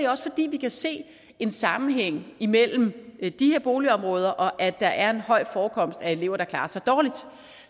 også fordi vi kan se en sammenhæng imellem de her boligområder og det at der er en høj forekomst af elever der klarer sig dårligt